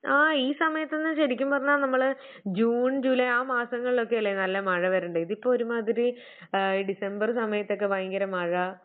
ആഹ് ഈ സമയത്തൊന്നും ശരിക്കും പറഞ്ഞാൽ നമ്മള് ജൂൺ, ജൂലൈ ആ മാസങ്ങളിലൊക്കെയല്ലേ നല്ല മഴ വരണ്ടത്. ഇതിപ്പം ഒരുമാതിരി ആഹ് ഡിസംബറ് സമയത്തെക്കെ